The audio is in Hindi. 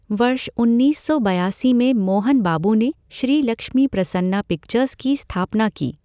वर्ष उन्नीस सौ बयासी में मोहन बाबू ने श्री लक्ष्मी प्रसन्ना पिक्चर्स की स्थापना की।